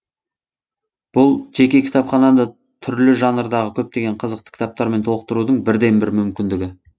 бұл жеке кітапхананы түрлі жанрдағы көптеген қызықты кітаптармен толықтырудың бірден бір мүмкіндігі